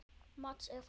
Mads er frábær.